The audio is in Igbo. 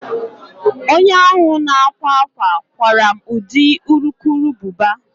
Onye ahụ na-akwa akwa kwara m ụdị urukurubụba